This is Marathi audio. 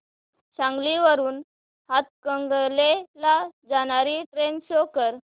सांगली वरून हातकणंगले ला जाणारी ट्रेन शो कर